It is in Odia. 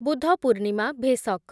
ବୁଦ୍ଧ ପୂର୍ଣ୍ଣିମା , ଭେସକ୍